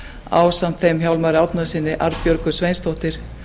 ásamt þeim hjálmari árnasyni arnbjörgu sveinsdóttur